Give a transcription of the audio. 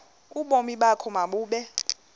ubomi bakho mabube